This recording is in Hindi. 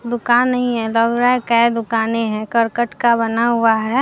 दुकान ही है दुकाने है करकट का बना हुआ है।